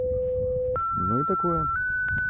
ну и такое